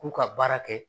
K'u ka baara kɛ